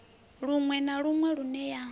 luṅwe na luṅwe lune ya